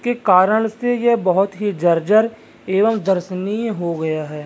के कारन से यह बहोत ही बहुत जर्जर एवं दर्शनीय हो गया है।